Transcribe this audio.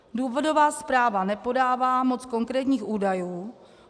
Důvodová zpráva nepodává moc konkrétních údajů.